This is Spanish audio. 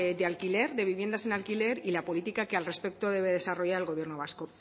de alquiler de viviendas en alquiler y la política que al respecto debe desarrollar el gobierno vasco